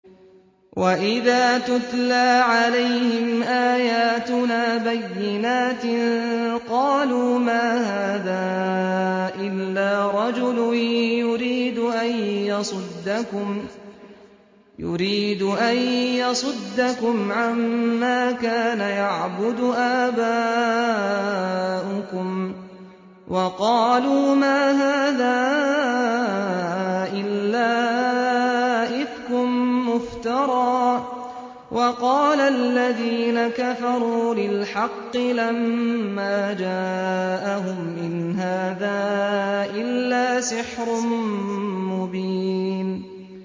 وَإِذَا تُتْلَىٰ عَلَيْهِمْ آيَاتُنَا بَيِّنَاتٍ قَالُوا مَا هَٰذَا إِلَّا رَجُلٌ يُرِيدُ أَن يَصُدَّكُمْ عَمَّا كَانَ يَعْبُدُ آبَاؤُكُمْ وَقَالُوا مَا هَٰذَا إِلَّا إِفْكٌ مُّفْتَرًى ۚ وَقَالَ الَّذِينَ كَفَرُوا لِلْحَقِّ لَمَّا جَاءَهُمْ إِنْ هَٰذَا إِلَّا سِحْرٌ مُّبِينٌ